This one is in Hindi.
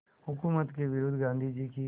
हुकूमत के विरुद्ध गांधी की